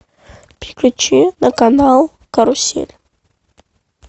переключи на канал карусель